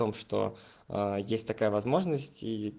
что есть такая возможность